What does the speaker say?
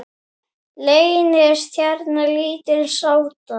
Leynist hérna lítil sáta.